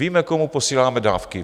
Víme, komu posíláme dávky.